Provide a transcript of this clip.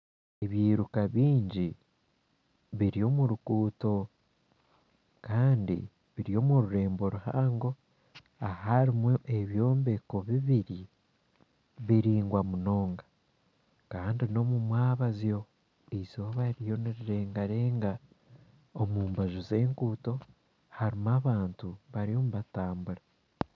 Ebiruka bingi biri omu ruguuto kandi biri omu rurembo ruhango aharimu ebyombeko bibiri biraingwa munonga. Kandi n'omu mwebazyo eizooba ririyo nirirengarenga. Omu mbaju z'enguuto harimu abantu bariyo nibatambura.